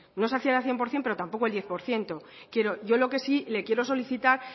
no es hacer al cien por ciento pero tampoco al diez por ciento yo lo que sí le quiero solicitar